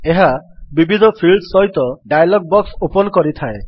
ଏହା ବିବିଧ ଫିଲ୍ଡସ୍ ସହିତ ଡାୟଲଗ୍ ବକ୍ସ ଓପନ୍ କରିଥାଏ